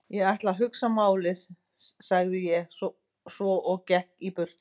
Ég ætla að hugsa málið sagði ég svo og gekk í burtu.